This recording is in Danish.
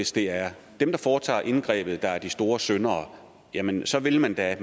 det er dem der foretager indgrebet der er de store syndere jamen så vil man da